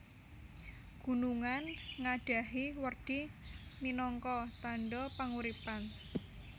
Gunungan ngadhahi werdi minangka tandha panguripan